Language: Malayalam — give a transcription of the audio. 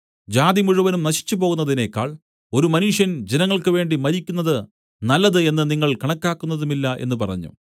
ജാതി മുഴുവനും നശിച്ചുപോകുന്നതിനേക്കാൾ ഒരു മനുഷ്യൻ ജനങ്ങൾക്കുവേണ്ടി മരിക്കുന്നതു നല്ലത് എന്നു നിങ്ങൾ കണക്കാക്കുന്നതുമില്ല എന്നു പറഞ്ഞു